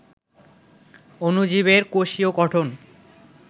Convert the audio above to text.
অণুজীবের কোষীয় গঠন